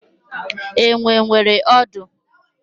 Enwe nwere ọdụ.